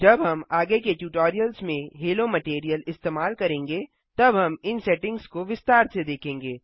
जब हम आगे के ट्यूटोरियल्स में हेलो मटैरियल इस्तेमाल करेंगे तब हम इन सेटिंग्स को विस्तार से देखेंगे